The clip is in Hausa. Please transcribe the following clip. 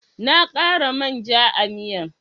Na kara man ja a'miyan.